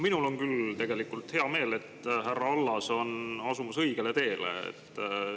Minul on küll hea meel, et härra Allas on asumas õigele teele.